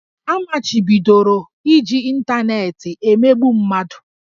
A machibidoro iji ịntanetị emegbu mmadụ